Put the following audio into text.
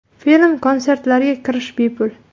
Film-konsertlarga kirish bepul.